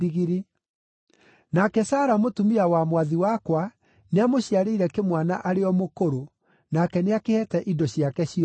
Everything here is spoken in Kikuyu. Nake Sara mũtumia wa mwathi wakwa nĩamũciarĩire kĩmwana arĩ o mũkũrũ, nake nĩakĩheete indo ciake ciothe.